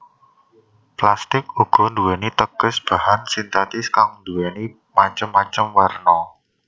Plastik uga nduwéni teges bahan sintetis kang nduwéni macem macem werna